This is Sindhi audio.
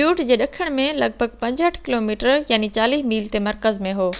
بيوٽ جي ڏکڻ ۾ لڳ ڀڳ 65 ڪلوميٽر 40 ميل تي مرڪز ۾ هو